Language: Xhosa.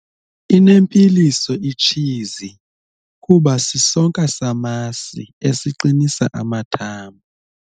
Inempilo itshizi kuba sisonka samasi esiqinisa amathambo.